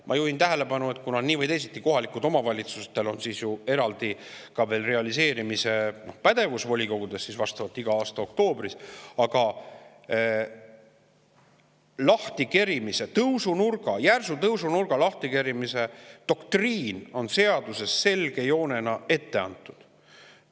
Ma juhin tähelepanu, et kohalikel omavalitsustel on volikogudes ka eraldi realiseerimise pädevus iga aasta oktoobris, aga järsu tõusunurga lahtikerimise doktriin on nii või teisiti seaduses selge joonena ette antud.